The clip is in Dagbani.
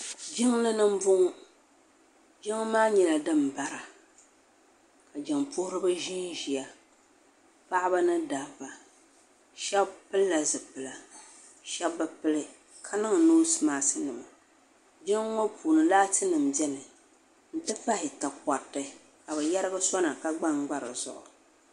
jinli ni n bɔŋɔ jinli maa nyɛla din bari ka jin pohiriba ʒɛ ʒɛya paɣ' ba ni da ba shɛbi pɛlila zupɛlila shɛbi be pɛli ka niŋ nosimaɣisi jinli ŋɔ puuni laati nima bɛni n ti pahi takoritɛ ka be yɛrigi sona ka gbangba di zuɣ'